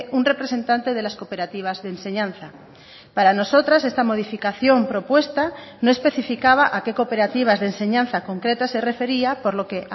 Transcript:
un representante de las cooperativas de enseñanza para nosotras esta modificación propuesta no especificaba a que cooperativas de enseñanza concretas se refería por lo que